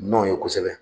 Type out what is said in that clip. Nɔnɔ ye kosɛbɛ